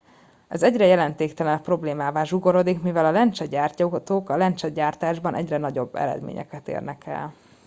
ez egyre jelentéktelenebb problémává zsugorodik mivel a lencsegyártók a lencsegyártásban egyre nagyobb eredményeket érnek el